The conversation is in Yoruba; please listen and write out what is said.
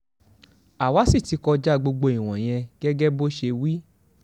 àwa sì ti kọjá gbogbo ìwọ̀nyẹn gẹ́gẹ́ bó ṣe wí